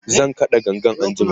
zan kaɗa gangan anjima